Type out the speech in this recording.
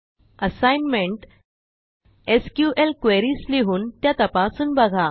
assignment SQL queries लिहून त्या तपासून बघा